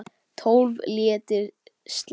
Tólf léttir slagir.